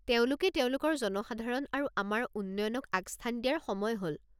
তেওঁলোকে তেওঁলোকৰ জনসাধাৰণ আৰু আমাৰ উন্নয়নক আগস্থান দিয়াৰ সময় হ'ল।